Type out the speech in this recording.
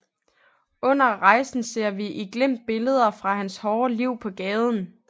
Under rejsen ser vi i glimt billeder fra hans hårde liv på gaden